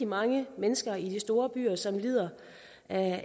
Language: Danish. mange mennesker i de store byer som lider af